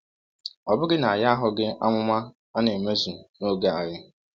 Ọ̀ bụghị na anyị ahụghị amụma a na-emezu n’oge anyị?